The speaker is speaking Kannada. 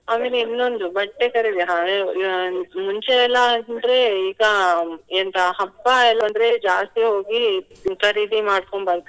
ಆಮೇಲೆ ಇನ್ನೊಂದು ಬಟ್ಟೆ ಖರೀದಿ ಮುಂಚೆ ಎಲ್ಲಾ ಅಂದ್ರೆ ಈಗ ಎಂತ ಹಬ್ಬ ಏನಂದ್ರೆ ಜಾಸ್ತಿ ಹೋಗಿ ಖರೀದಿ ಮಾಡ್ಕೊಂಡು ಬರ್ತಾರೆ.